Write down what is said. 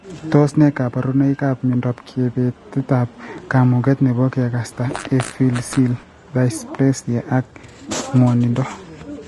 Tos ne kaborunoikap miondop kabetetab kamuget nebo kekasta, epiphyseal dysplasia ak nwogindo